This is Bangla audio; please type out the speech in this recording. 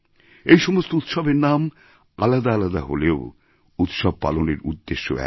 এই সমস্ত উৎসবের নাম আলাদা আলাদা হলেও উৎসব পালনের উদ্দেশ্য এক